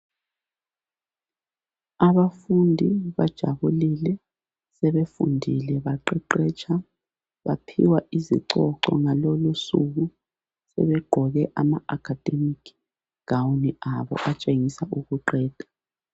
Abafundi bajabulile sebefundile baqeqetsha, baphiwa izicoco ngalolu suku sebe gqoke ama akhademikhi gawuni abo atshengisa ukuqeda.